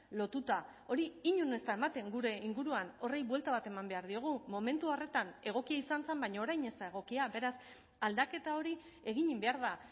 lotuta hori inon ez da ematen gure inguruan horri buelta bat eman behar diogu momentu horretan egokia izan zen baina orain ez da egokia beraz aldaketa hori egin behar da